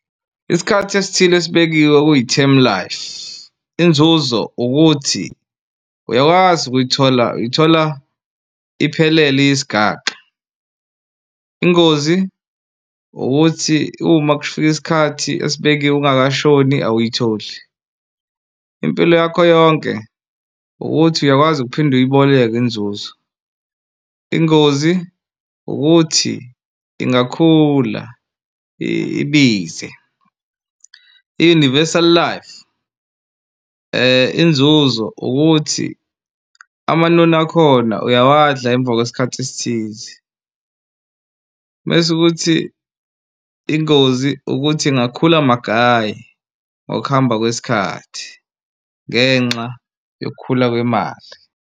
Isikhathi esithile esibekiwe okuyi-term life inzuzo ukuthi uyakwazi ukuyithola uyithola iphelele iyisigaxa. Ingozi ukuthi uma kufika isikhathi esibekiwe ungakashoni awuyitholi. Impilo yakho yonke ukuthi uyakwazi ukuphinde uyiboleke inzuzo. Ingozi ukuthi ingakhula ibize i-universal life inzuzo ukuthi amanoni akhona uyawadla emva kwesikhathi esithize mese ukuthi ingozi ukuthi ingakhula magayi ngokuhamba kwesikhathi ngenxa yokukhula kwemali.